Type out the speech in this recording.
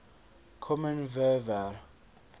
kommen wir wer